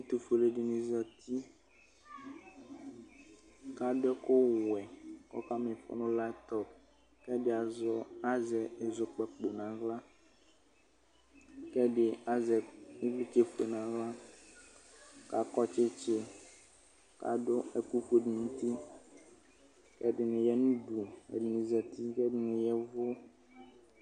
ɛtufue alu ɛdini zatikʋ adʋ ɛkʋwɛkʋ ɔkama ifɔ nʋ laptɔpkʋ ɛdi azɛ azɔkpako nʋ aɣlakʋ ɛdi azɛ ivlitsɛ buele nʋ aɣlakʋ akɔ tsitsikʋ adʋ ɛkʋfue nʋ utikʋ ɛdini yanʋ uduɛdini zati , kʋ ɛdini yɛvʋ